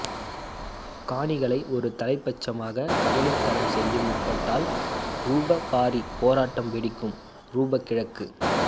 காணிகளை ஒரு தலைப்பட்சமாக கபளீகரம் செய்ய முற்பட்டால் ரூபவ் பாரி போராட்டம் வெடிக்கும் ரூபவ் கிழக்கு